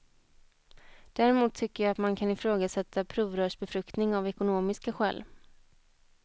Däremot tycker jag att man kan ifrågasätta provrörsbefruktning av ekonomiska skäl.